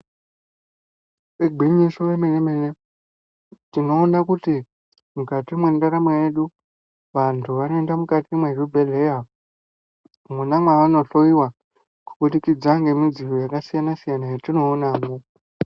Igwinyiso remene-mene tinoona kuti mukati mwendaramo yedu vantu vanoenda mukati mezvibhedhlera mwona mavanohloiwa kubudikidza nemidziyo yakasiyana-siyana yatinoonamwo.